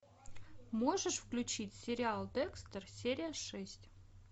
можешь включить сериал декстер серия шесть